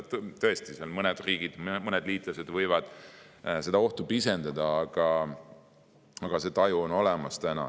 Tõesti, mõned riigid, mõned liitlased võivad seda ohtu pisendada, aga see taju on olemas.